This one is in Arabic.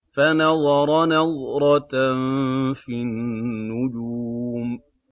فَنَظَرَ نَظْرَةً فِي النُّجُومِ